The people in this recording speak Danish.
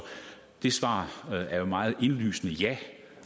svaret er jo meget indlysende ja